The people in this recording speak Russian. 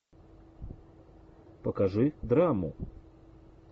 покажи драму